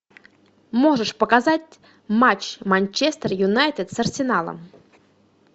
можешь показать матч манчестер юнайтед с арсеналом